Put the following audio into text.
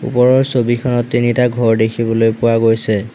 ওপৰৰ ছবিখনত তিনিটা ঘৰ দেখিবলৈ পোৱা গৈছে।